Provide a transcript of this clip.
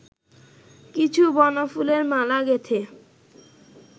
কিছু বনফুলের মালা গেঁথে